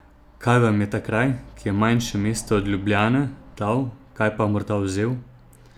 Kaj vam je ta kraj, ki je manjše mesto od Ljubljane, dal, kaj pa morda vzel?